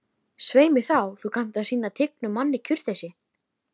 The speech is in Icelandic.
Svei mér þá, þú kannt að sýna tignum manni kurteisi